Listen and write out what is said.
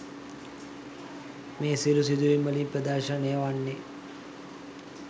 මේ සියලු සිදුවීම් වලින් ප්‍රදර්ශනය වන්නේ